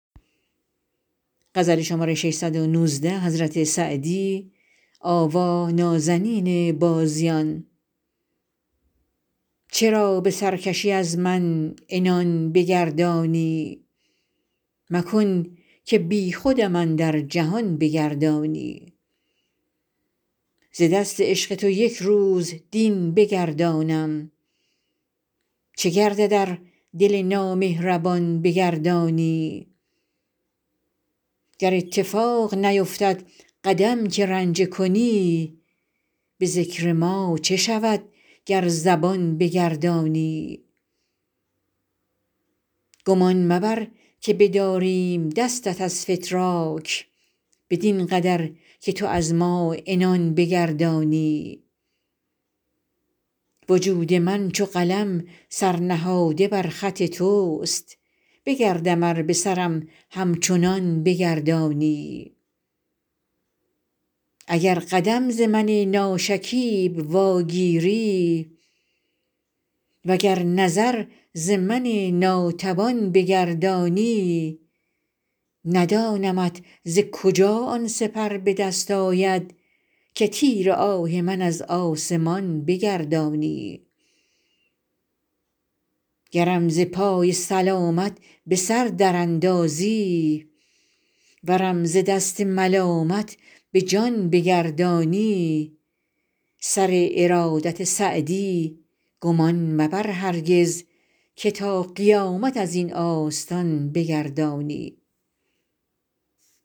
چرا به سرکشی از من عنان بگردانی مکن که بیخودم اندر جهان بگردانی ز دست عشق تو یک روز دین بگردانم چه گردد ار دل نامهربان بگردانی گر اتفاق نیفتد قدم که رنجه کنی به ذکر ما چه شود گر زبان بگردانی گمان مبر که بداریم دستت از فتراک بدین قدر که تو از ما عنان بگردانی وجود من چو قلم سر نهاده بر خط توست بگردم ار به سرم همچنان بگردانی اگر قدم ز من ناشکیب واگیری و گر نظر ز من ناتوان بگردانی ندانمت ز کجا آن سپر به دست آید که تیر آه من از آسمان بگردانی گرم ز پای سلامت به سر در اندازی ورم ز دست ملامت به جان بگردانی سر ارادت سعدی گمان مبر هرگز که تا قیامت از این آستان بگردانی